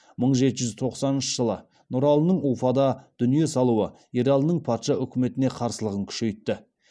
мың жеті жүз тоқсаныншы жылы нұралының уфада дүние салуы ералының патша үкіметіне қарсылығын кұшейтті